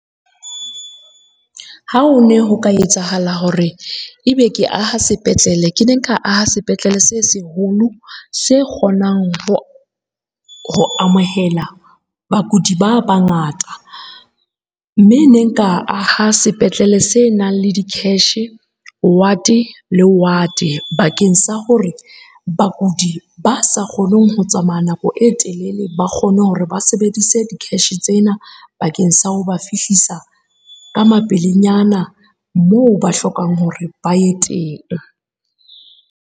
Ha o ne ho ka etsahala hore ebe ke aha sepetlele, ke ne nka aha sepetlele se seholo se kgonang ho amohela bakudi ba bangata. Mme ne nka aha sepetlele se nang le di-cash, ward le ward bakeng sa hore bakudi ba sa kgoneng ho tsamaya nako e telele ba kgone hore ba sebedise di-cash tsena bakeng sa ho ba fihlisa ka mapelenyana moo ba hlokang hore ba ye teng.